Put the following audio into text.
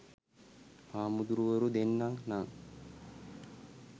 හාමුදුරුවරු දෙන්න නං